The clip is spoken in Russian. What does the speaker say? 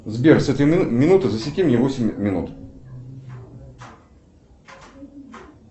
сбер с этой минуты засеки мне восемь минут